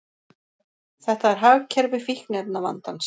Þetta er hagkerfi fíkniefnavandans.